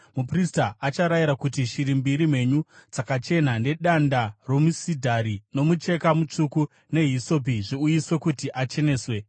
muprista acharayira kuti shiri mbiri mhenyu dzakachena, nedanda romusidhari, nomucheka mutsvuku, nehisopi zviuyiswe kuti acheneswe.